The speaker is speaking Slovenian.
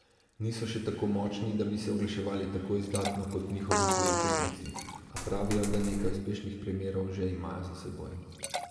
Niso še tako močni, da bi se oglaševali tako izdatno kot njihovi tuji tekmeci, a pravijo, da nekaj uspešnih primerov že imajo za seboj.